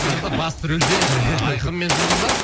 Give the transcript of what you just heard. сонда басты рөлде айқын мен жұлдыз ба